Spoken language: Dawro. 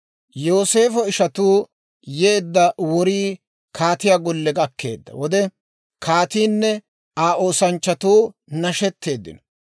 Yooseefo ishatuu yeedda worii kaatiyaa golle gakkeedda wode, kaatiinne Aa oosanchchatuu nashetteeddino.